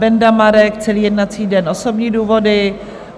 Benda Marek - celý jednací den, osobní důvody;